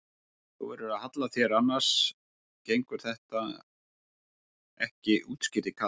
Þú verður að halla þér annars gengur þetta ekki útskýrði Kata.